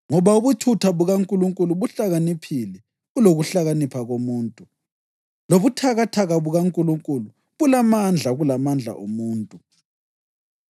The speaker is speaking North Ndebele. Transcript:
Ngoba ubuthutha bukaNkulunkulu buhlakaniphile kulokuhlakanipha komuntu, lobuthakathaka bukaNkulunkulu bulamandla kulamandla omuntu.